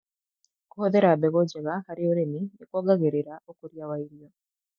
Kũhũthĩra mbegũ njega harĩ ũrĩmi nĩkuongagĩrĩra ũkũria wa irio